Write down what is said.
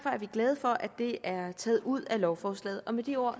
er vi glade for at det er taget ud af lovforslaget med de ord